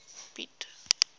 piet